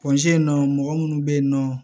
mɔgɔ munnu be yen nɔ